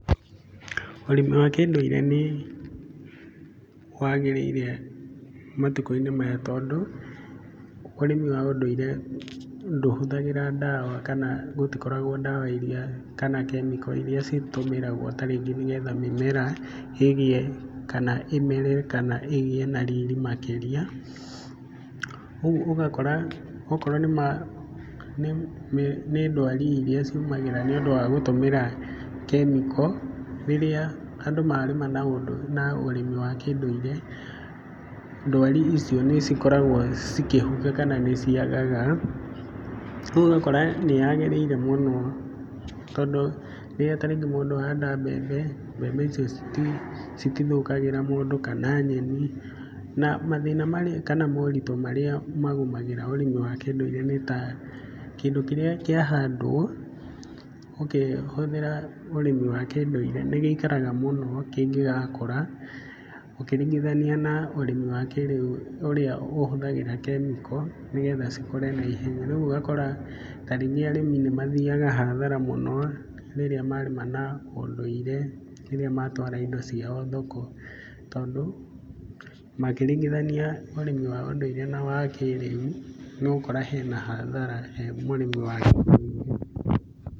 Ũrĩmi wa kĩndũire nĩ wagĩrĩire matukũ-inĩ maya, tondũ ũrĩmi wa ũndũire ndũhũthagira ndawa na gũtikoragwo ndawa iria kana kemiko iria citũmĩragwo ta rĩngĩ nĩ getha mĩmera ĩgĩe kana ĩmere kana ĩgĩe na riri makĩria. Ũguo ũgakora okorwo nĩ ndwari iria ciumagĩra nĩ ũndũ wa gũtũmĩra kemiko, rĩrĩa andũ marĩma na ũrĩmi wa kĩndũire, ndwari icio nĩ cikoragwo cikĩhukio kana nĩ ciagaga. Ũguo ũgakora nĩ yagĩrĩire mũno, tondũ rĩrĩa tarĩngĩ mũndũ ahanda mbembe, mbembe icio citũthũkagĩra mũndũ kana nyeni. Na mathĩna maria kana moritũ marĩa magũmagĩra ũrĩmi wa kĩndũire nĩ ta, kĩndũ kĩrĩa kĩahandwo ũkĩhũthĩra ũrĩmi wa kĩndũire nĩ gĩikaraga mũno kĩngĩgakũra ũkiringithania na ũrimi wa kĩrĩu ũrĩa ũhuthagĩra kemiko, nĩ getha cikũre na ihenya. Rĩu ũgakora taringĩ arĩmi nĩ mathiaga hathara mũno, rĩrĩa marĩma na ũndũire rĩrĩa matwara indo ciao thoko, tondũ makĩringithania ũrĩmi wa kiũndũire na wa kĩrĩu, nĩ ũgũkora hena hathara he mũrĩmi wa kĩũndũire.